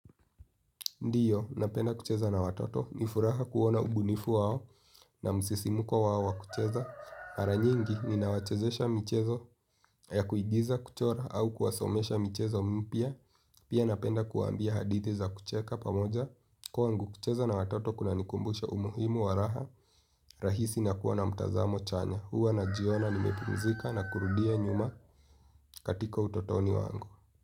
Ndio, napenda kucheza na watoto, ni furaha kuona ubunifu wao na msisimuko wao wa kucheza. Mara nyingi, ninawachezesha michezo ya kuigiza kuchora au kuwasomesha michezo mpya. Pia napenda kuwaambia hadithi za kucheka pamoja. Kwangu, kucheza na watoto kunanikumbusha umuhimu wa raha, rahisi na kuwa na mtazamo chanya. Huwa najiona nimepumzika na kurudia nyuma katika utotoni wangu.